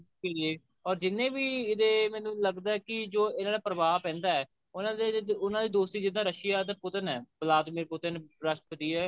PA or ਜਿੰਨੇ ਵੀ ਇਹਦੇ ਮੈਨੂੰ ਲੱਗਦਾ ਕਿਜੋ ਇਹਨਾ ਤੇ ਪ੍ਰਭਾਵ ਪੈਂਦਾ ਉਹਨਾ ਦੇ ਦੋਸਤੀ ਜਿੱਦਾਂ Russia ਦੇ ਪੁਤਨ ਐ ਪਲਾਤਮਿਕ ਪੁਤਨ ਰਾਸ਼ਟਰਪਤੀ ਐ